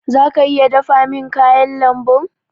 Zaka iya dafa min kayan lambun?